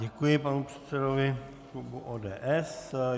Děkuji panu předsedovi klubu ODS.